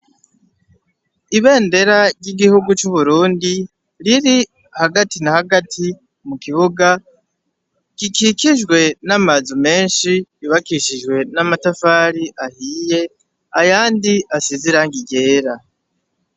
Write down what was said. Ibendera ry'igihugu c'uburundi riri hagati na hagati mu kibuga gikikijwe n'amazu menshi bubakishijwe n'amatafari ahiye ayandi asiziranga igyera.